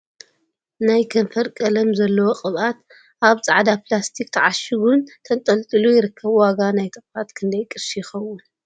ናይ ከንፈር ቀለም ዘለዎ ቅብኣት ኣብ ፃዕዳ ፕላስቲክ ተዕሺጉ ን ተንጠልጢሉ ይርከብ ። ዋጋ ናይቲ ቅብኣት ክንደይ ቅርሺ ይከውን ?